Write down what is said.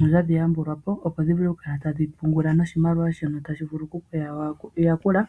notadhi yambulwapo opo dhi vule oku kala tadhi pungula noshimaliwa shono tashi vulu kudhi yakula